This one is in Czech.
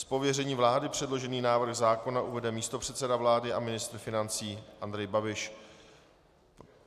Z pověření vlády předložený návrh zákona uvede místopředseda vlády a ministr financí Andrej Babiš.